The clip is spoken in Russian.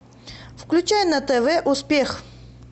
включай на тв успех